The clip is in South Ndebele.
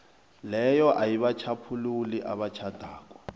leyo ayibatjhaphululi abatjhadako